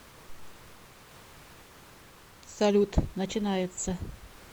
салют начинается